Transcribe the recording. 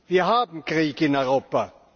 Wir haben Krieg in Europa.